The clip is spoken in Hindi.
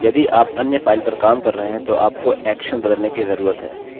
मैं alex एलेक्स देख सकता हूँ चलिए मैं यहाँ क्लिक करता हूँ और यह hello alex है